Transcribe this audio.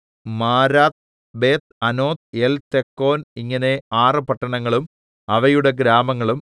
Marath Beth anoth Eltekon ഇങ്ങനെ ആറ് പട്ടണങ്ങളും അവയുടെ ഗ്രാമങ്ങളും